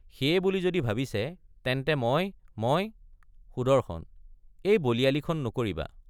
সেয়ে বুলি যদি ভাবিছে—তেন্তে—মই—মই— সুদৰ্শন—এই বলিয়ালিখন নকৰিবা।